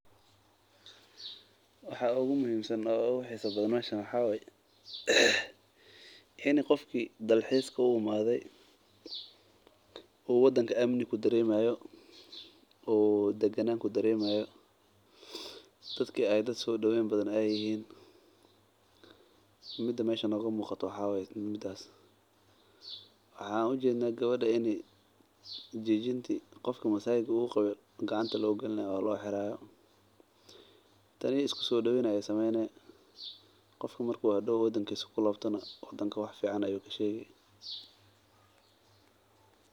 Waxaa oogu muhiimsan oo ogu xiisa badan waxaa waye in qofka dalxiska u imaade uu dalka amni ku dareemayo oo dadka soo daweyni haayan waxaan arkeyna in gabada wixi aay qabte lasiinaayo soo daween fican waye.